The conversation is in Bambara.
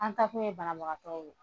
An taakun ye banabagatɔ ye